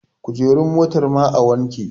kujerun motar ma a wanke?